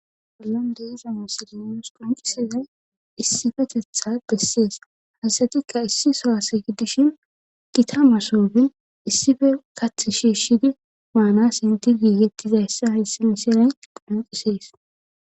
bollande izamasilenos qoncisiza issifetetha bessees haysatikka issi sohase gidishin gita ma soofen issife kath shiishshidi maanas inti giigettizayssa hayssi misinay qonqisees